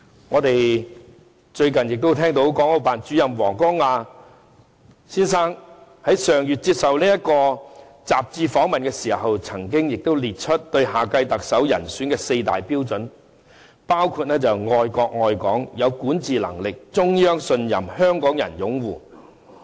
我們最近亦聽到國務院港澳事務辦公室主任王光亞先生在上月接受雜誌訪問時，列出對下屆特首人選的四大標準，包括愛國愛港，有管治能力，中央信任，香港人擁護。